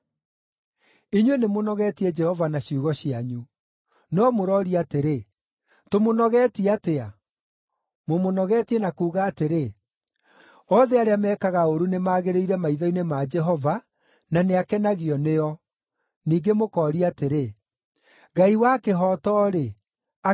Inyuĩ nĩmũnogetie Jehova na ciugo cianyu. No mũrooria atĩrĩ, “Tũmũnogetie atĩa?” Mũmũnogetie na kuuga atĩrĩ, “Othe arĩa mekaga ũũru nĩmagĩrĩire maitho-inĩ ma Jehova, na nĩakenagio nĩo.” Ningĩ mũkooria atĩrĩ, “Ngai wa kĩhooto-rĩ, akĩrĩ ha?”